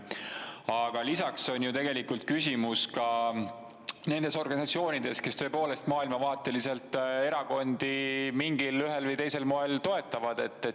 Aga lisaks on ju tegelikult küsimus ka nendes organisatsioonides, kes tõepoolest maailmavaateliselt erakondi ühel või teisel moel toetavad.